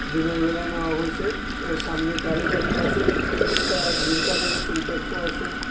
দিনের বেলা নেওয়া হইছে এর সামনে গাড়ি দাঁড়িয়ে আছে একটা গ্রীন কালারের সিনটেক্সও আছে।